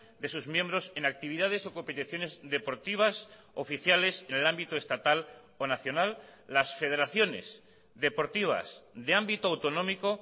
de sus miembros en actividades o competiciones deportivas oficiales en el ámbito estatal o nacional las federaciones deportivas de ámbito autonómico